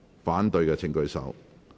反對的請舉手。